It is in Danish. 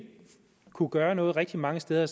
kunne gøre noget rigtig mange steder